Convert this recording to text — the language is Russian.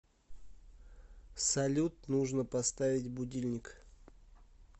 салют нужно поставить будильник